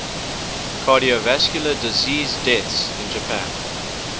cardiovascular disease deaths in japan